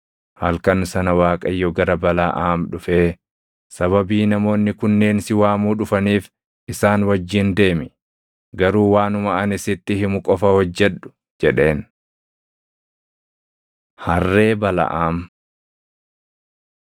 Halkan sana Waaqayyo gara Balaʼaam dhufee, “Sababii namoonni kunneen si waamuu dhufaniif, isaan wajjin deemi; garuu waanuma ani sitti himu qofa hojjedhu” jedheen. Harree Balaʼaam